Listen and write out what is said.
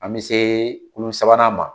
An mi se kulu sabanan ma